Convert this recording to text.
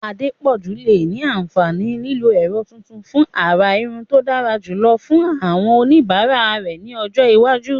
Adepoju lè ní àǹfààní lílo ẹ̀rọ tuntun fún àrà irun tó dára jùlọ fún àwọn oníbàárà rẹ̀ ní ọjọ́ iwájú.